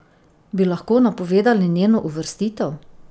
Bi lahko napovedali njeno uvrstitev?